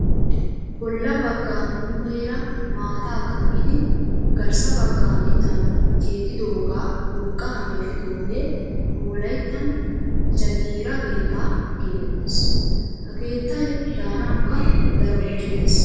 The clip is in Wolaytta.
Bolla baggaa muumeera maataa kammidi garssa baggaa mittaan keexxidooga urqqaa meeshidoogee nu wolayittan jagiira keettaa getettes. Ha keettayi daanawukka daro injjetes.